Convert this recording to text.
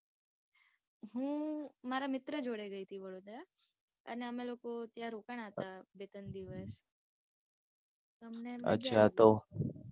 હું મારા મિત્ર જોડે ગયી હતી વડોદરા. અને અમે લોકો ત્યાં રોકાણા હતા બે ત્રણ દિવસ. તો અમને મજા આવી.